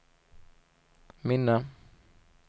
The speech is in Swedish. minne